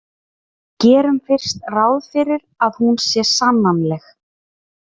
Gerum fyrst ráð fyrir að hún sé sannanleg.